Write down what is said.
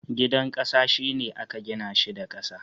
Gidan ƙasa, shi ne aka gina shi da ƙasa.